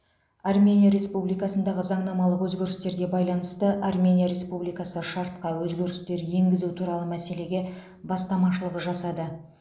армения республикасындағы заңнамалық өзгерістерге байланысты армения республикасы шартқа өзгерістер енгізу туралы мәселеге бастамашылық жасады